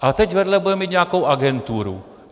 Ale teď vedle bude mít nějakou agenturu.